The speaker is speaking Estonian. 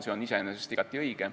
See on iseenesest igati õige.